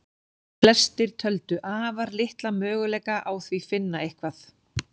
Flestir töldu afar litla möguleika á því finna eitthvað.